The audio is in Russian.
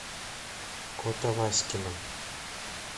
котоваськино